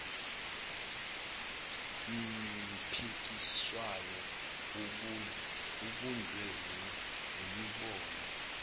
mpikiswano ibunjwe yimibono